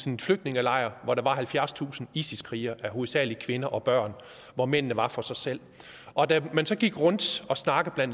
en flygtningelejr hvor der var halvfjerdstusind isis krigere hovedsagelig kvinder og børn og hvor mændene var for sig selv og da man så gik rundt og snakkede